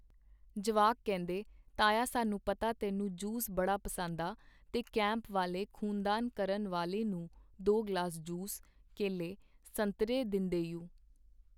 ਜਵਾਕ ਕਹਿੰਦੇ ਤਾਇਆ ਸਾਨੂੰ ਪਤਾ ਤੈਨੂੰ ਜੂਸ ਬੜਾ ਪਸੰਦ ਆ ਤੇ ਕੈਂਪ ਵਾਲੇ ਖ਼ੂਨਦਾਨ ਕਰਨ ਵਾਲੇ ਨੂੰ ਦੋ ਗਲਾਸ ਜੂਸ, ਕੇਲੇ , ਸੰਤਰੇ ਦਿੰਦੇਯੂ.